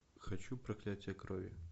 хочу проклятие крови